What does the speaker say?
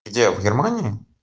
где в германии